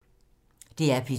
DR P2